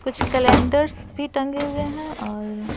कुछ कैलेंडर्स भी टंगे हुए हैं और--